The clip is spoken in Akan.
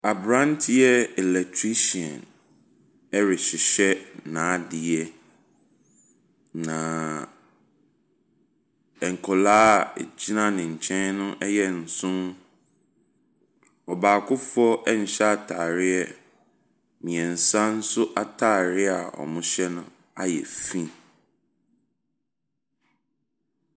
Aberanteɛ electrician rehyehyɛ n'adeɛ, na nkwadaa a wɔgyina ne nkyɛ no yɛ nson. Ɔbaakofoɔ nhyɛ atadeɛ, mmeɛnsa nso atadeɛ a wɔhyɛ no ayɛ fi.